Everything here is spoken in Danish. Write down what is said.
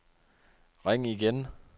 ring igen